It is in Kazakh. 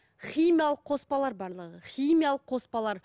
химиялық қоспалар барлығы химиялық қоспалар